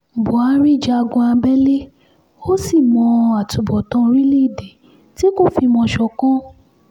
buhari jagun abẹ́lé ó sì mọ àtúbọ̀tán orílẹ̀-èdè tí kò fìmọ̀ ṣọ̀kan